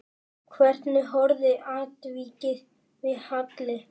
Hvernig horfði atvikið við Halli?